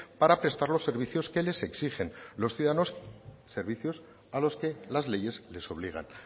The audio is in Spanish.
para prestar los servicios que les exigen los ciudadanos servicios a los que las leyes les obligan